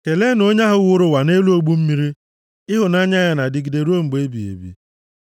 Keleenụ onye wuru ụwa nʼelu ogbu mmiri, Ịhụnanya ya na-adịgide ruo mgbe ebighị ebi.